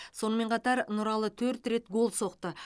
сонымен қатар нұралы төрт рет гол соқты